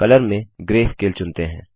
colour में grey scale चुनते हैं